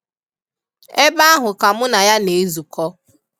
Ebe ahụ ka mụ na ya na-ezụkọ.